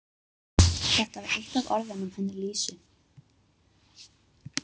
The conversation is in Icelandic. Þetta var eitt af orðunum hennar Lísu.